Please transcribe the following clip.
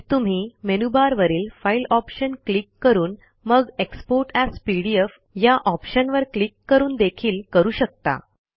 हेच तुम्ही मेनूबारवरील फाईल ऑप्शन क्लिक करून मग एक्सपोर्ट एएस पीडीएफ या ऑप्शनवर क्लिक करून देखील करू शकता